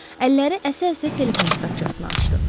Əlləri əsə-əsə telefon kitabçasını açdı.